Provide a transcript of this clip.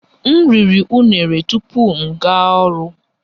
M riri unere tupu m gaa ọrụ